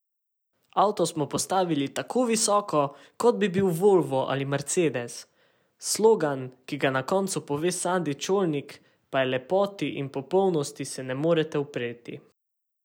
Avto smo postavili tako visoko, kot bi bil volvo ali mercedes, slogan, ki ga na koncu pove Sandi Čolnik, pa je Lepoti in popolnosti se ne morete upreti.